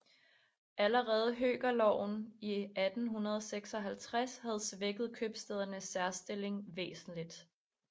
Allerede høkerloven i 1856 havde svækket købstædernes særstilling væsentligt